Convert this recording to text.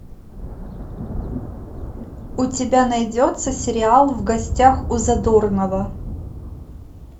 у тебя найдется сериал в гостях у задорнова